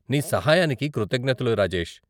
నీ సహాయానికి కృతజ్ఞతలు, రాజేష్.